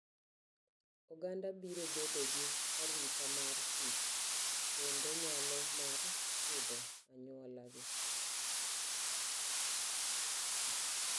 Oganda biro bedo gi arita mar tich kendo nyalo mar pidho anyuola gi.